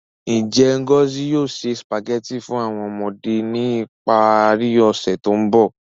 Nje Ngozi yoo se Spaghetti fun awọn ọmọde ni ipari ose to nbọ?